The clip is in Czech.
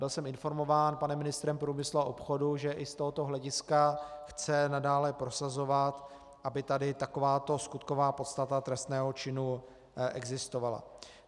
Byl jsem informován panem ministrem průmyslu a obchodu, že i z tohoto hlediska chce nadále prosazovat, aby tady takováto skutková podstata trestného činu existovala.